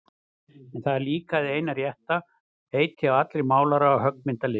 En það er líka hið eina rétta heiti á allri málara- og höggmyndalist.